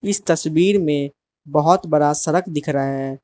इस तस्वीर में बहोत बड़ा सड़क दिख रा है।